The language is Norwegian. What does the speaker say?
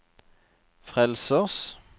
frelsers